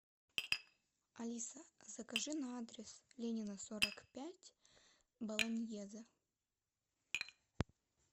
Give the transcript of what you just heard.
алиса закажи на адрес ленина сорок пять болоньезе